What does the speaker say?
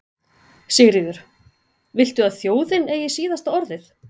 Sigríður: Viltu að þjóðin eigi síðasta orðið?